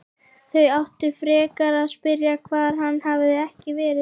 Þau áttu frekar að spyrja hvar hann hefði ekki verið.